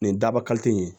Nin daba ka teli yen